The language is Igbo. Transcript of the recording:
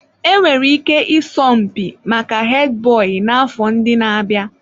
Enwere ike ịsọ mpi maka Hedi boyi n'afọ ndị na-abịa.